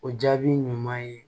O jaabi ɲuman ye